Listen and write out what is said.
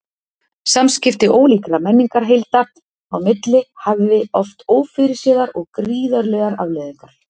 Samskipti ólíkra menningarheilda á milli hafði oft ófyrirséðar og gríðarlegar afleiðingar.